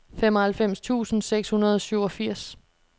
femoghalvfems tusind seks hundrede og syvogfirs